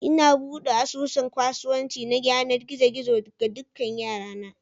Ina buɗe asusun kasuwanci na yanar gizo gizo ga dukan 'yara na